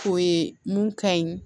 O ye mun ka ɲi